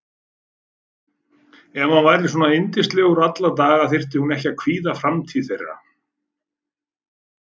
Ef hann væri svona yndislegur alla daga þyrfti hún ekki að kvíða framtíð þeirra.